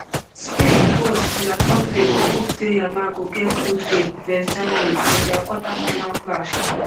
spain coach de la fuente go hope say yamal go get good game vs germany for dia quarterfinal clash